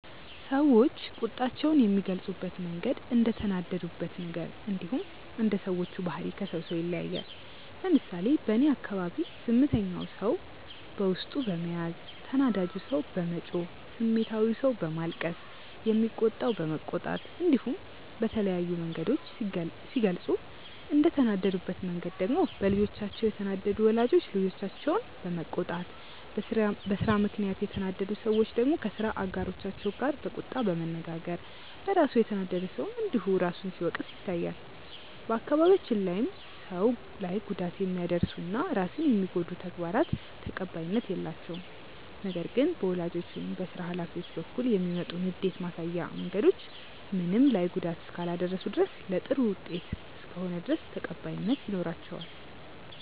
ሰዎች ቁጣቸውን የሚገልጹበት መንገድ እንደተናደዱበት ነገር እንዲሁም እንደ ሰዎቹ ባህሪ ከሰው ሰው ይለያያል። ለምሳሌ በእኔ አካባቢ ዝምተኛው ሰው በውስጡ በመያዝ፣ ተናዳጁ ሰው በመጮህ፣ ስሜታዊው ሰው በማልቀስ፣ የሚቆጣው በመቆጣት እንዲሁም በተለያዩ መንገዶች ሲገልጹ፤ እንደተናደዱበት መንገድ ደግሞ በልጆቻቸው የተናደዱ ወላጆች ልጆቻቸውን በመቆጣት፣ በስራ ምክንያት የተናደዱ ሰዎች ደግሞ ከስራ አጋሮቻቸው ጋር በቁጣ በመነጋገር፣ በራሱ የተናደደ ሰውም እንዲሁ ራሱን ሲወቅስ ይታያል። በአካባቢያችን ላይም ሰው ላይ ጉዳት የሚያደርሱ እና ራስን የሚጎዱ ተግባራት ተቀባይነት የላቸውም። ነገር ግን በወላጆች ወይም በስራ ሀላፊዎች በኩል የሚመጡ ንዴት ማሳያ መንገዶች ምንም ላይ ጉዳት እስካላደረሱ ድረስ እና ለጥሩ ውጤት እስከሆነ ድረስ ተቀባይነት ይኖራቸዋል።